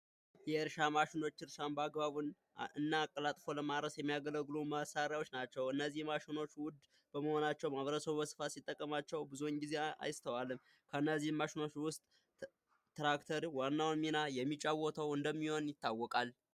የእርሻ ማሸኖች እርሻ በአግባቡ እና አቀላጥፎ ለማረስ የሚያገለግሉ መሳሪያዎች ናቸው። እነዚህ ማሽኖች ውድ በመሆናቸው ማህበረሰቡ በስፋት ሲጠቀማቸው ብዙውን ጊዜ አይስተዋልም። ከነዚህም ማሽኖች ውስጥ ትራክተር ዋናው ሚና የሚጫወተው እንደሚሆን ይታወቃል።